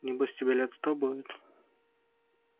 небось тебе лет сто будет